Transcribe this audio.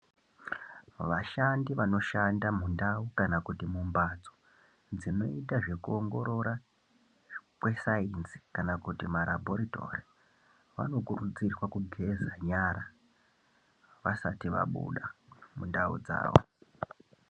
Vashandi vanoshanda mundau kana kuti mumbatso dzinoita zvekuongorora kwesainzi kana kuti marabhoritori vanokurudzirwa kugeza nyara vasati vabuda mundau dzavo.